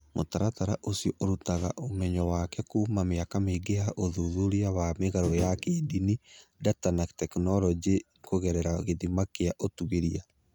Mũtaratara ũcio ũrutaga ũmenyo wake kuuma mĩaka mĩingĩ ya ũthuthuria wa mĩgarũ ya kĩndini, data na tekinoronjĩ kũgerera gĩthimi kĩa ũtuĩria.